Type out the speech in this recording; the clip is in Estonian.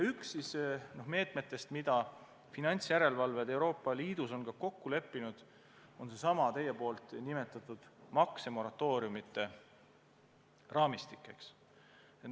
Üks meede, mille finantsjärelevalvajad Euroopa Liidus on kokku leppinud, on seesama teie nimetatud maksemoratooriumide raamistik.